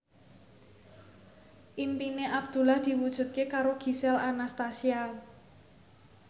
impine Abdullah diwujudke karo Gisel Anastasia